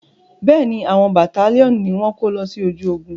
Bẹ́ẹ̀ni, àwọn bàtálíọ̀nù ni wọ́n kó lọ sí ojú ogun.